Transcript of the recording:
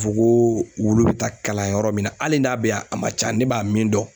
fo ko wulu bɛ taa kalan yɔrɔ min na hali n'a bɛ yan a man ca ne b'a min dɔn.